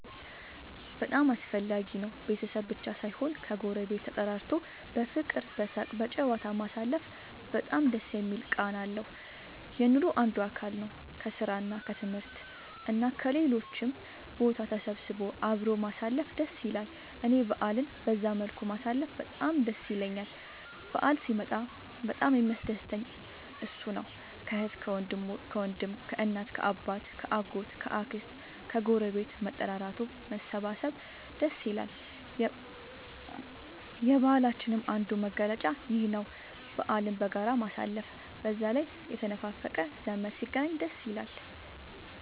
በጣም አስፈላጊ ነው ቤተሰብ ብቻ ሳይሆን ከ ጎረቤት ተጠራርቶ በፍቅር በሳቅ በጨዋታ ማሳለፉ በጣም ደስ የሚል ቃና አለው። የኑሮ አንዱ አካል ነው። ከስራ እና ከትምህርት እና ከሌሎችም ቦታ ተሰብስቦ አብሮ ማሳለፍ ደስ ይላል እኔ በአልን በዛ መልኩ ማሳለፍ በጣም ደስ ይለኛል በአል ሲመጣ በጣም የሚያስደስተኝ እሱ ነው። ከአህት ከወንድም ከእናት ከአባት ከ አጎት ከ አክስት ከግረቤት መጠራራቱ መሰባሰብ ደስ ይላል። የባህላችንም አንዱ መገለጫ ይኽ ነው በአልን በጋራ ማሳለፍ። በዛ ላይ የተነፋፈቀ ዘመድ ሲገናኝ ደስ ይላል